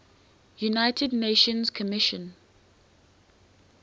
united nations commission